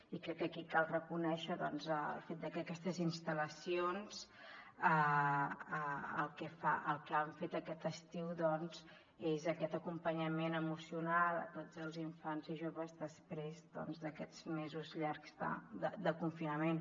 i crec que aquí cal reconèixer el fet de que aquestes instal·lacions el que han fet aquest estiu és aquest acompanyament emocional a tots els infants i joves després d’aquests mesos llargs de confinament